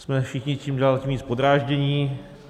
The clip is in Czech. Jsme všichni čím dál tím víc podráždění.